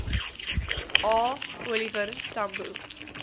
a oliver tambo